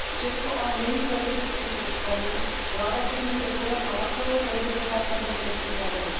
Česko ale není prezidentským systémem, vláda tedy může podat na takového prezidenta kompetenční žalobu.